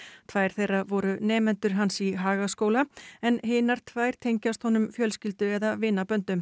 tvær þeirra voru nemendur hans í Hagaskóla en hinar tvær tengjast honum fjölskyldu eða vinaböndum